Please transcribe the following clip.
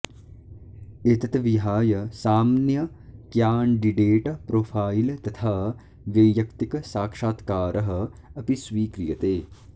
एतत् विहाय साम्न्य क्यान्डिडेट प्रोफाइल तथा व्यैयक्तिकसाक्षात्कारः अपि स्वीक्रियते